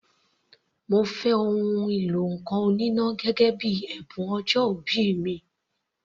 Mo fẹ́ ohun ìlọ ǹkan oníná gẹ́gẹ́ bíi ẹ̀bùn ọjọ́ìbí mi.